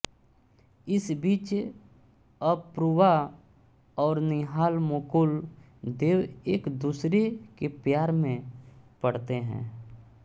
इस बीच अपूर्वा और निहाल मुकुल देव एक दूसरे के प्यार में पड़ते हैं